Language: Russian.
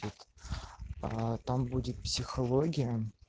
там будет психология